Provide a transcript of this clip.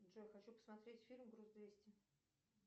джой хочу посмотреть фильм груз двести